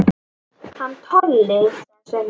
Hann Tolli, sagði Svenni.